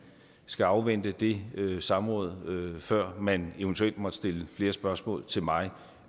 skal afvente det samråd før man eventuelt måtte stille flere spørgsmål til mig